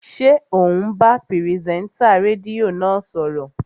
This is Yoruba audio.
Ṣé ò ń bá pìrìsẹ́ńtà rédíò náà sọ̀rọ̀?